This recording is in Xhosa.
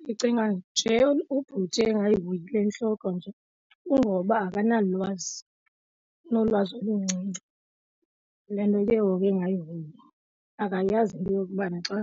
Ndicinga nje ubhuti engayihoyi le ntloko nje kungoba akanalwazi unolwazi oluncinci. Le nto ke ngoku ke engayihoyi akayazi into yokubana xa